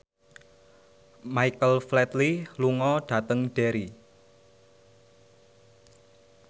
Michael Flatley lunga dhateng Derry